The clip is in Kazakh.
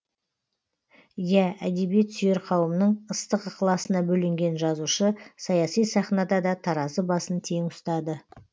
иә әдебиет сүйер қауымның ыстық ықыласына бөленген жазушы саяси сахнада да таразы басын тең ұстады